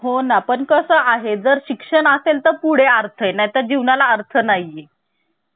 आणि फ्रान्सकडून आपण प्रजसत्ताक पद्धती त्याच त्याचबरोबर सरणाव्यामध्ये जे स्वातंत्र आहे समता अजून दुधा हि जी तत्व आहे हि जे आदर्श आहे हे आपण फ्रान्सकडून घेतलेली आहे.